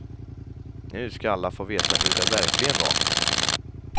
Nu ska alla få veta hur det verkligen var.